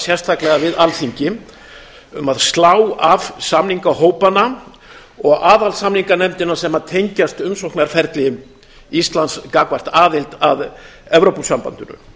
sérstaklega við alþingi um að slá af samningahópana og aðalsamninganefndina sem tengjast umsóknarferli íslands gagnvart aðild að evrópusambandinu